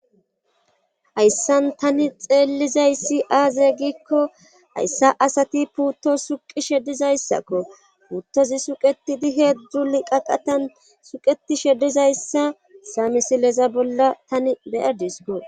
Hayssan tani xeellizayssi aaze giikko hayssa asati puutto suqi shedizayssakko puuttozi suqetidi heezdzuli qaqatan suqeti sheddizayssa samisileza bolla tani beyardis goo.